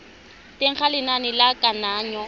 teng ga lenane la kananyo